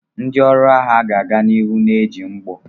Ndị ọrụ agha ga-aga n'ihu na-eji mgbọ.